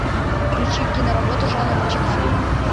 включи киноработу жанра чик флик